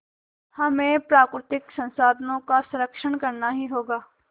हमें प्राकृतिक संसाधनों का संरक्षण करना ही होगा